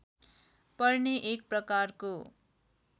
पर्ने एक प्रकारको